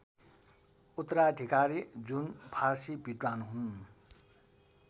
उत्तराधिकारी जुन फारसी विद्वान हुन्